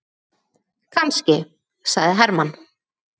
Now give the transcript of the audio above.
Kannski, sagði Hermann.